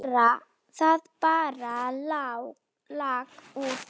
Það bara lak úr því.